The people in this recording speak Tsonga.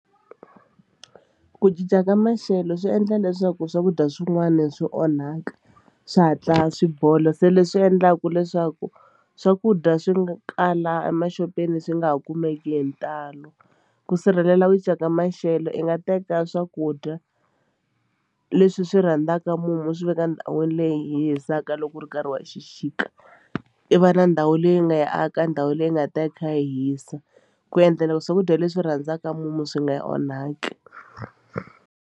Ku cinca ka maxelo swi endla leswaku swakudya swin'wani swi onhaka swi hatla swi bola se leswi endlaku leswaku swakudya swi nga kala emaxopeni swi nga ha kumeki hi ntalo ku sirhelela ku cinca ka maxelo i nga teka swakudya leswi swi rhandzaka mumu swi veka endhawini leyi hisaka loko ri nkarhi wa xixika i va na ndhawu leyi nga ya aka ndhawu leyi nga ta yi kha yi hisa ku endlela swakudya leswi rhandzaka mumu swi nga onhaki.